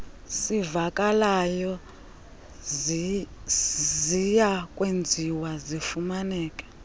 sivakalayo ziyakwenziwa zifumaneke